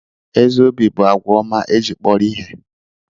Ezi obi bụ àgwà ọma e ji kpọrọ ihe.